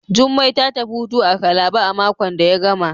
Jummai ta tafi hutu a Calabar a makon da ya gama.